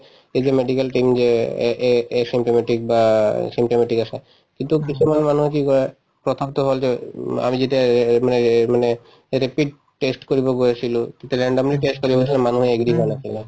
এই যে medical team যে ‍‍aa asymptomatic বা symptomatic আছে এইটোক কিছুমান মানুহে কি কই প্ৰথমতো হল যে উম আমি যেতিয়া মানে মানে rapid test কৰিব গৈ আছিলো তেতিয়া randomly test কৰিব গৈছিলো মানুহে agree হোৱা নাছিলে